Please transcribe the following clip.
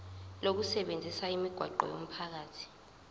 lokusebenzisa imigwaqo yomphakathi